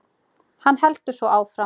Hann heldur svo áfram